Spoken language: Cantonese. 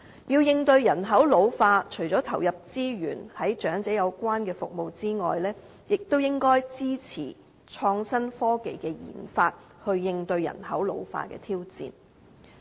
要應對人口老化，除了投入資源提供長者有關的服務之外，也應該支持創新科技的研發，應對人口老化的挑戰。